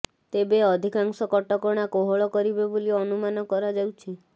ତେବେ ଅଧିକାଂଶ କଟକଣା କୋହଳ କରିବେ ବୋଲି ଅନୁମାନ କରାଯାଉଛି